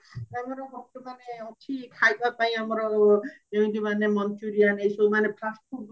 ତାଙ୍କର ମାନେ ଅଛି ଖାଇବା ପାଇଁ ଆମର ଯେମିତି ମାନେ manchurian ଏଇ ସବୁ ମାନେ fast food